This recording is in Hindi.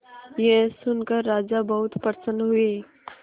यह सुनकर राजा बहुत प्रसन्न हुए